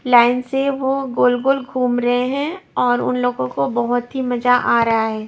Line से वो गोल गोल घूम रहे हैं और उन लोगों को बहुत ही मजा आ रहा है।